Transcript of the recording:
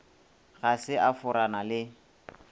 ga se a forana le